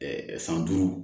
san duuru